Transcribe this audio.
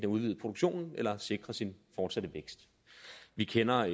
udvide produktionen eller at sikre sin fortsatte vækst vi kender